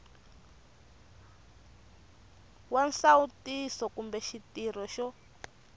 wa nsawutiso kumbe xitirho xo